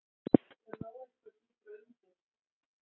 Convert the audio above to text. Það lá eitthvað dýpra undir.